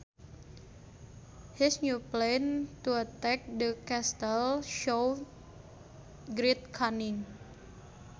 His new plan to attack the castle showed great cunning